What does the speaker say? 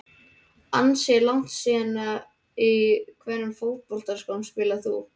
Ansi langt síðan Í hvernig fótboltaskóm spilar þú?